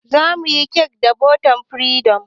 Zamuyi cake da botan firesido